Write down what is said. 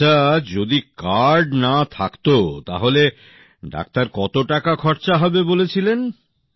আচ্ছা যদি কার্ড না থাকতো তাহলে ডাক্তার কত টাকা খরচা হবে বলেছিলেন